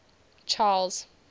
charles